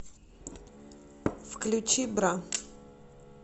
включи бра